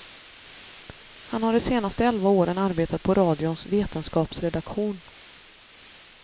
Han har de senaste elva åren arbetat på radions vetenskapsredaktion.